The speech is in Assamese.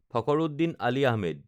ফখৰুদ্দিন আলি আহমেদ